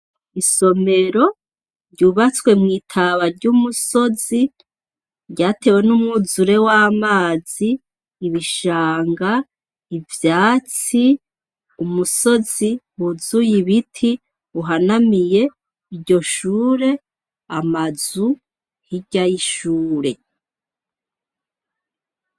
Isomero yubatswe mwitaba ryumusozi ryatewe numwuzure wamazi ibishanga, ivyatsi, umusozi kwuzuye ibiti uhanamiye iryo shure amazu hirya yishure.